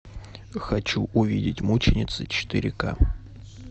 хочу увидеть мученицы четыре ка